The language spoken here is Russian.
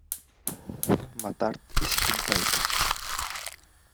мотард из питбайка